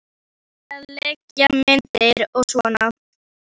Og til að leigja myndir og svona.